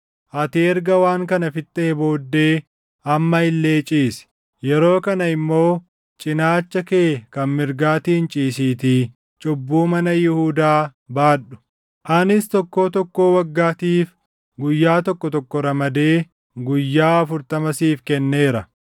“Ati erga waan kana fixxee booddee amma illee ciisi; yeroo kana immoo cinaacha kee kan mirgaatiin ciisiitii cubbuu mana Yihuudaa baadhu. Anis tokkoo tokkoo waggaatiif guyyaa tokko tokko ramadee, guyyaa 40 siif kenneera.